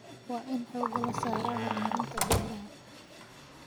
Waa in xooga la saaraa horumarinta beeraha.